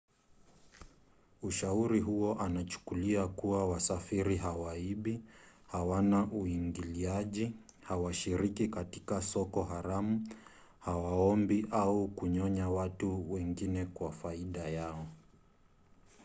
ushauri huo unachukulia kuwa wasafiri hawaibi hawana uingiliaji hawashiriki katika soko haramu hawaombi au kunyonya watu wengine kwa faida yao